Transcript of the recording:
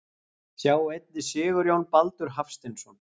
Sjá einnig Sigurjón Baldur Hafsteinsson.